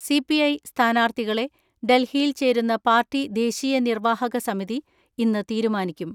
C P I സ്ഥാനാർത്ഥികളെ ഡൽഹിയിൽ ചേരുന്ന പാർട്ടി ദേശീയ നിർവാഹക സമിതി ഇന്ന് തീരുമാനിക്കും.